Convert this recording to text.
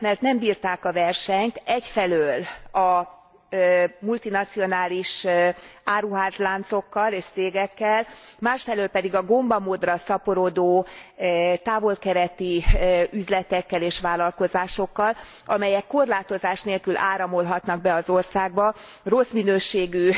Azért mert nem bírták a versenyt egyfelől a multinacionális áruházláncokkal és cégekkel, másfelől pedig a gomba módra szaporodó távol keleti üzletekkel és vállalkozásokkal, amelyek korlátozás nélkül áramolhatnak be az országba, rossz minőségű